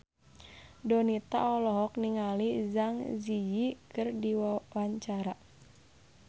Donita olohok ningali Zang Zi Yi keur diwawancara